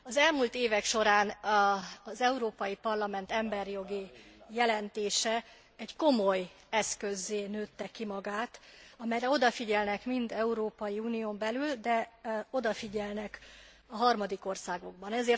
Az elmúlt évek során az Európai Parlament emberjogi jelentése egy komoly eszközzé nőtte ki magát, amelyre odafigyelnek mind az Európai Unión belül, de odafigyelnek a harmadik országokban is.